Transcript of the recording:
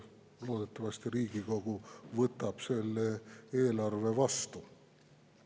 Loodetavasti Riigikogu võtab selle eelarve vastu.